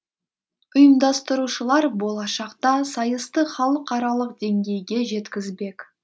ұйымдастырушылар болашақта сайысты халықаралық деңгейге жеткізбек